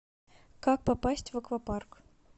как попасть в аквапарк